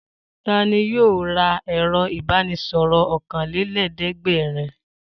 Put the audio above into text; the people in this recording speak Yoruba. Ta ni yóò ra ẹ̀rọ-ìbánisọ̀rọ̀ ọ̀kanlélẹ́ẹ̀dẹ́gbẹ̀rún?